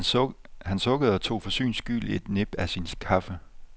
Han sukkede og tog for syns skyld et nip af sin kaffe.